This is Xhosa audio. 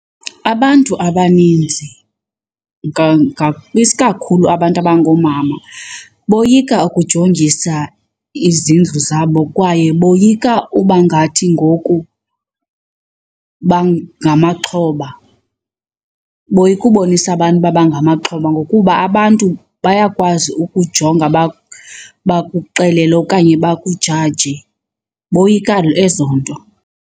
Abantu abaninzi, isikakhulu abantu abangoomama boyika ukujongisa izindlu zabo kwaye boyika ubangathi ngoku bangamaxhoba. Boyika ubonisa abantu uba bangamaxhoba ngokuba abantu bayakwazi ukujonga bakuxelele okanye bakujaje. Boyika ezo nto.